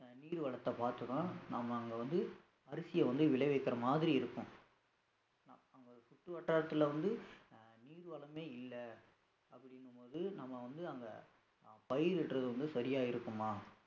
நீர் வளத்தை பார்த்து தான் நாம அங்க வந்து அரிசியை வந்து விளைவிக்கிற மாதிரி இருக்கும் நா அங்க சுற்றுவட்டாரத்துல வந்து அஹ் நீர் வளமே இல்ல அப்படிங்கும்போது நம்ம வந்து அங்க அஹ் பயிர் வெட்டுறது வந்து சரியா இருக்குமா